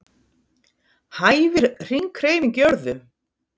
Hæfir hringhreyfing jörðu?